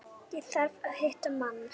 Ég þarf að hitta mann.